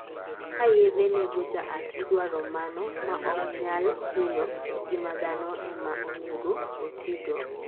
ka yedhe nego jaath idwaro mano maok nyal hinyo ngima dhano ema onego otigo